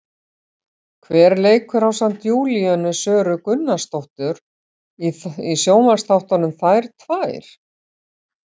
Hver leikur ásamt Júlíönu Söru Gunnarsdóttir í sjónvarpsþáttunum, Þær tvær?